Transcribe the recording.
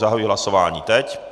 Zahajuji hlasování teď.